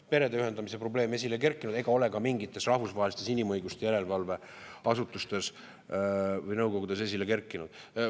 Perede ühendamise probleem esile ei kerkinud ega ole ka mingites rahvusvahelistes inimõiguste järelevalveasutustes või nõukogudes esile kerkinud.